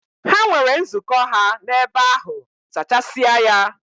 Ha nwere nzukọ ha n'ebe ahụ, zachasịa ya!